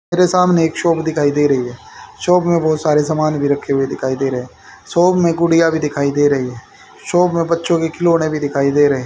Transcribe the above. मेरे सामने एक शॉप दिखाई दे रही शॉप में बहुत सारे सामान भी रखे हुए दिखाई दे रहे शॉप में गुड़ियां भी दिखाई दे रही शॉप में बच्चों के खिलौने भी दिखाई दे रहे--